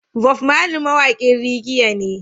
Bob Marley mawaƙin reagea ne